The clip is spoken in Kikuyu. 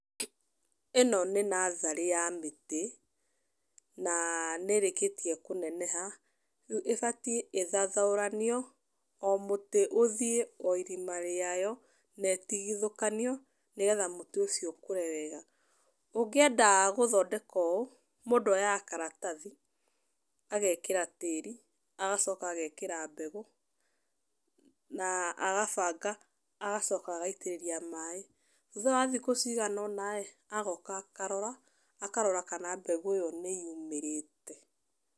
Ĩno nĩ natharĩ ya mĩtĩ, na nĩ ĩrĩkĩtie kũneneha, rĩu ĩbatiĩ ithathaũranio, o mũtĩ ũthiĩ ó irima rĩayo na ĩtigithũkanio nĩgetha mũtĩ ũcio ũkũre wega. Ũngĩenda gũthondeka ũũ, mũndũ oyaga karatathi agekĩra tĩri agacoka agekĩra mbegũ na agabanga agacoka agaitĩrĩria maaĩ. Thutha wa thikũ cigana ũna rĩ, agoka akarora kana mbegũ ĩyo nĩyumĩrĩte.